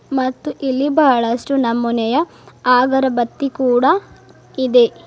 ಮತ್ತು ಇಲ್ಲಿ ಬಹಳಷ್ಟು ನಮುನೆಯ ಆಗರಬತ್ತಿ ಕೂಡ ಇದೆ.